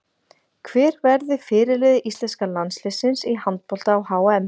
Hver verður fyrirliði íslenska landsliðsins í handbolta á HM?